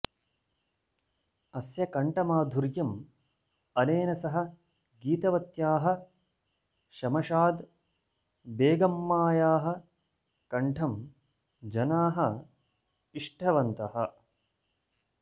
अस्य कण्ठमाधुर्यम् अनेन सह गीतवत्याः शमशाद् बेगम्मायाः कण्ठं जनाः इष्टवन्तः